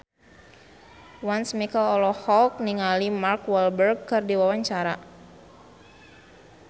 Once Mekel olohok ningali Mark Walberg keur diwawancara